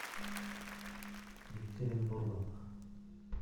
екатеринбургом